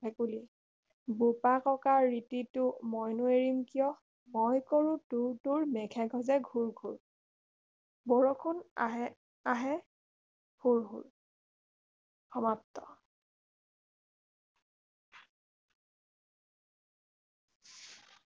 ভেকুলী বোপা ককাৰ ৰীতিটো মইনো এৰিম কিয় মই কৰো টোৰ টোৰ মেঘ গাজে ঘোৰ ঘোৰ বৰষুণ আহে আহে হোৰ হোৰ সমাপ্ত